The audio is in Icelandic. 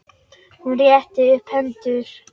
Hún rétti upp hendur.